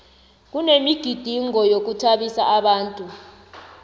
kunemigidingo yokuthabisa abantu